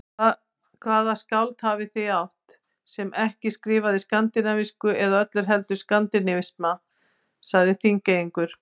Hvaða skáld hafið þið átt, sem ekki skrifaði skandinavísku eða öllu heldur skandinavisma, sagði Þingeyingur.